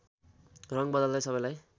रङ बदल्दै सबैलाई